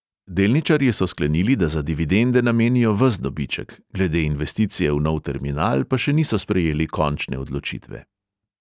Delničarji so sklenili, da za dividende namenijo ves dobiček, glede investicije v nov terminal pa še niso sprejeli končne odločitve.